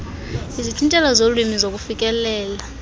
izithintelo zolwimi nokufikelela